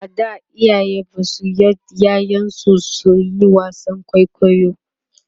a da iyaye Basu yards ƴaƴan su suyi wasan kwaikwayo